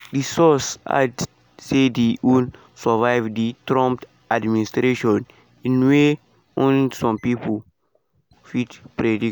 dis source add say di un survive di trump administration in way ony some pipo fit predict.